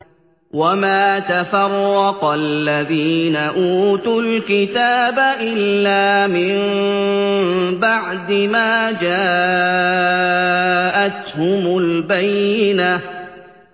وَمَا تَفَرَّقَ الَّذِينَ أُوتُوا الْكِتَابَ إِلَّا مِن بَعْدِ مَا جَاءَتْهُمُ الْبَيِّنَةُ